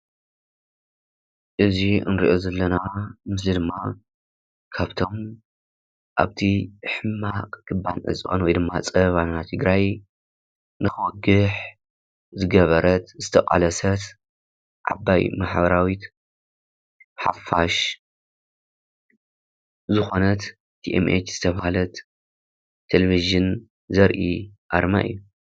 እዚ እንሪኦ ዘለና ምስሊ ድማ ካብቶም ኣብቲ ሕማቕ ክባን ዕፅዋን ወይ ድማ ፀበባ ናይ ትግራይ ንኽወግሕ ዝገበረት ዝተቓለሰት ዓባይ ማሕበራዊት ሓፋሽ ዝኾነት TMH ዝተበሃለት ቴሌቭዥን ዘርኢ ኣርማ እዩ።